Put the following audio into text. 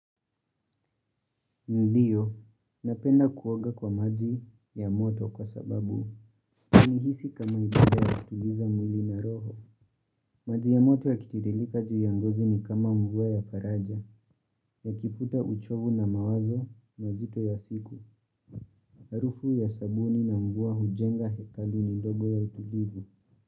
Ndio, napenda kuoga kwa maji ya moto kwa sababu, nihisi kama ibada ya kutuliza mwili na roho. Maji ya moto yakitiririka juu ya ngozi ni kama mvua ya faraja, yakifuta uchovu na mawazo na uzito ya siku. Harufu ya sabuni na mvua hujenga hekaluni ndogo ya utulivu.